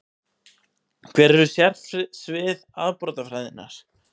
Hver eru sérsvið afbrotafræðinnar?